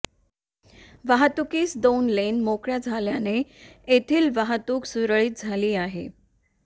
वाहतूकीस दाेन लेन माेकळ्या झाल्याने येथील वाहतूक सुरळीत झाली आहे